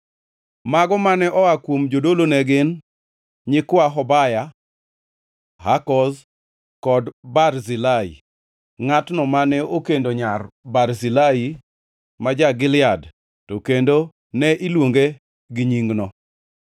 Mago mane oa kuom jodolo ne gin: nyikwa Hobaya, Hakoz kod Barzilai (ngʼatno mane okendo nyar Barzilai ma ja-Gilead to kendo ne iluonge gi nyingno).